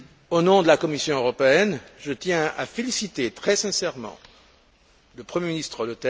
Au nom de la Commission européenne, je tiens à féliciter très sincèrement le Premier ministre, M.